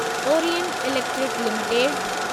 Orient electric limited